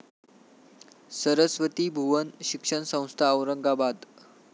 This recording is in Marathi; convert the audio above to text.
सरस्वती भुवन शिक्षण संस्था, औरंगाबाद